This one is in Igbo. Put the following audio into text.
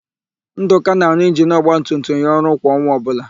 Ndụka na-arụ injinu ọgbatumtum ya ọrụ kwa ọnwa ọbụla.